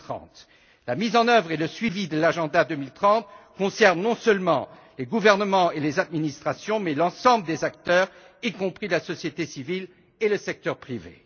2030. La mise en œuvre et le suivi de l'agenda 2030 concernent non seulement les gouvernements et les administrations mais l'ensemble des acteurs, y compris la société civile et le secteur privé.